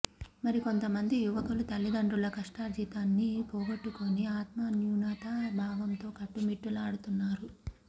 మరికొంత మంది యువకులు తల్లిదండ్రుల కష్టార్జితాన్ని పోగొట్టుకుని ఆత్మన్యూనతా భావంతో కొట్టుమిట్టాడుతున్నారు